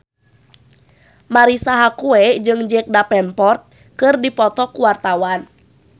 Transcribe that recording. Marisa Haque jeung Jack Davenport keur dipoto ku wartawan